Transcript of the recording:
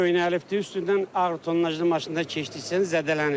Köhnəlibdir, üstündən ağır tonnajlı maşınlar keçdikcə zədələnir.